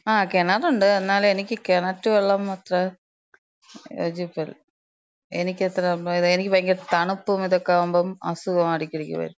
ആ കെണറ്ണ്ട്. ന്നാലും എനിക്ക് കെണറ്റ് വെള്ളം അത്ര യോജിപ്പില്ല. എനിക്കത്ര, എനിക്ക് ഭയങ്കര തണ്പ്പും ഇതൊക്കെയാവുമ്പം അസുഖം എടക്കെടയ്ക്ക് വരും.